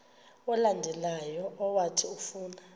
olandelayo owathi ufuna